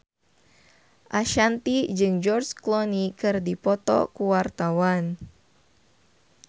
Ashanti jeung George Clooney keur dipoto ku wartawan